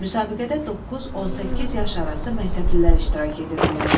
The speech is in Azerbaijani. Müsabiqədə 9-18 yaş arası məktəblilər iştirak edirdilər.